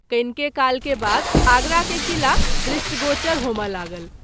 कनिके काल के बाद आगरा के किला दृष्टिगोचर होमए लागल।